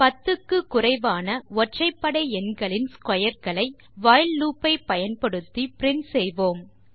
10 க்கு குறைவான ஒற்றைபடை எண்களின் ஸ்க்வேர் களை வைல் லூப் ஐ பயன்படுத்தி பிரின்ட் செய்வோம்